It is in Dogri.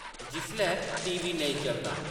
जिसलै टीवी नेईं चलदा ।